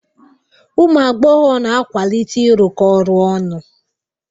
Ụmụ agbọghọ na-akwalite ịrụkọ ọrụ ọnụ.